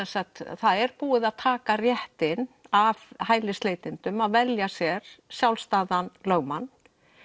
það er búið að taka réttinn af hælisleitendum að velja sér sjálfstæðan lögmann